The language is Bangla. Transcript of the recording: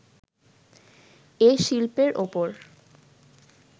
এ শিল্পের ওপর